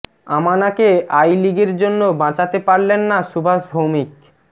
আমনাকে I লিগের জন্য বাঁচাতে পারলেন না সুভাষ ভৌমিক